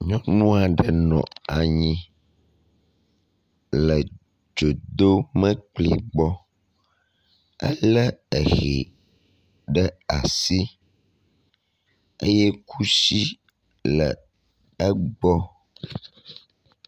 Nyɔnua ɖe nɔ anyi le dzodomlekpui gbɔ. Elé ehɛ ɖe asi eye kusi le egbɔ.